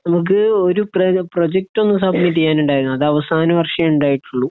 നമക്ക് ഒരു പ്രെഗ്‌ പ്രൊജക്റ്റ് ഒന്ന് സുബ്മിറ്റ് ചെയ്യാൻ ഉണ്ടായിരുന്നു അത് അവസാന വര്ഷത്തെ ഉണ്ടായിട്ട് ഉള്ളോ